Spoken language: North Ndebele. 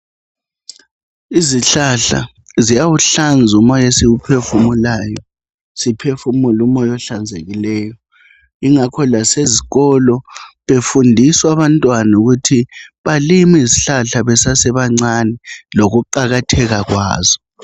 Izihlahla ziyawuhlanza umoya esiwuphefumulayo. Siphefumule umoya ohlanzekileyo. Yingakho lasezikolo, befundiswa abantwana ukuthi balime izihlahla besasebancane, lokuqakatheka kwazo.